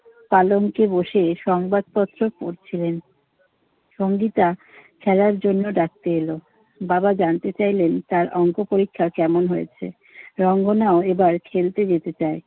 পালঙ্কে বসে সংবাদপত্র পড়ছিলেন। সংগীতা খেলার জন্য ডাকতে এলো। বাবা জানতে চাইলেন, তার অংক পরীক্ষা কেমন হয়েছে। রঙ্গনাও এবার খেলতে যেতে চায়।